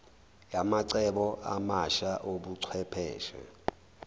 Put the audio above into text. yamacebo amasha obuchwepheshe